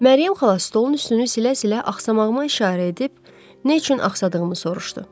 Məryəm xala stolun üstünü silə-silə axsamığıma işarə edib nə üçün axsadığımı soruşdu.